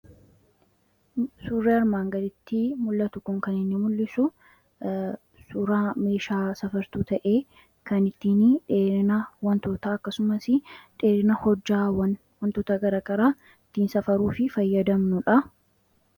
Suuraan armaan gadiitti mul'atu kun kan inni mul'isu suuraa meeshaa safartuu ta'ee, kan ittiin dheerina wantootaa akkasumas dheerina hojjaawwan wantoota gara garaa ittiin safarruu fi fayyadamnudha.